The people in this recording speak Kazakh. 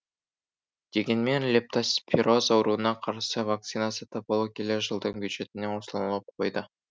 дегенмен лептоспироз ауруына қарсы вакцина сатып алу келер жылдың бюджетіне ұсынылып қойды